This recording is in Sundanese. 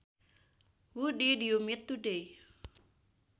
Who did you meet today